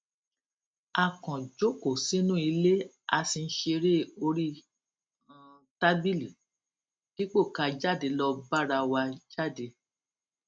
a kàn jókòó sínú ilé a sì ń ṣeré orí um tábìlì dípò ká jáde lọ bára wa jáde